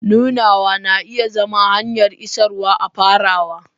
Nunawa na iya zama hanyar isarwa a farawa.